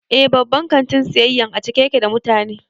Eh, babban kantin siyayyan a cike ya ke da mutane